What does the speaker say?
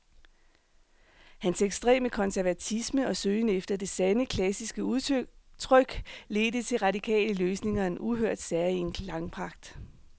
Hans ekstreme konservatisme og søgen efter det sande, klassiske udtryk ledte til radikale løsninger og en uhørt, særegen klangpragt.